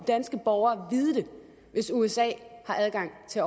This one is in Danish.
danske borgere vide det hvis usa har adgang til